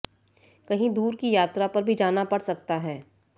कहीं दूर की यात्रा पर भी जाना पड़ सकता है